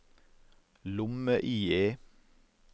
lomme-IE